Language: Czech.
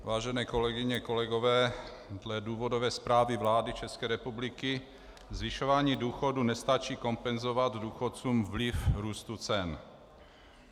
Vážené kolegyně, kolegové, dle důvodové zprávy vlády České republiky zvyšování důchodů nestačí kompenzovat důchodcům vliv růstu cen.